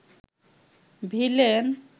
villain